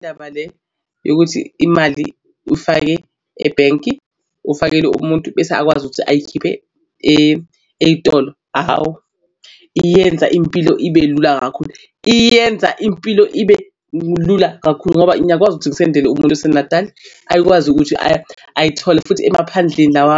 Ndaba le yokuthi imali uyifake ebhenki ufakele umuntu bese akwazi ukuthi ayikhiphe ey'tolo. Hhawu iyenza impilo ibe lula kakhulu, iyenza impilo ibe lula kakhulu. Ngoba ngiyakwazi ukuthi ngisendele umuntu oseNatali akwazi ukuthi ayithole futhi emaphandleni lawa